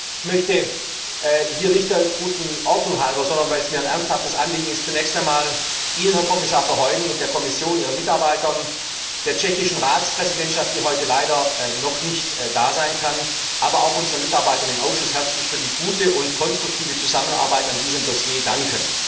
Ich möchte hier nicht der guten Ordnung halber, sondern weil es mir ein ernsthaftes Anliegen ist, zunächst einmal Ihnen, Herr Kommissar Verheugen, und der Kommission, ihren Mitarbeitern, der tschechischen Ratspräsidentschaft, die heute leider noch nicht da sein kann, aber auch unseren Mitarbeitern im Ausschuss herzlich für die gute und konstruktive Zusammenarbeit bei diesem Dossier danken.